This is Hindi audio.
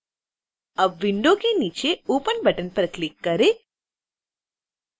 अब window के नीचे open button पर click करें